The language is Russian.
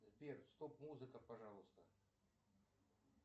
сбер стоп музыка пожалуйста